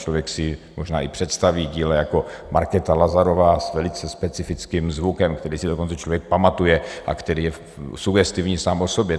Člověk si možná i představí dílo jako Markéta Lazarová s velice specifickým zvukem, který si dokonce člověk pamatuje a který je sugestivní sám o sobě.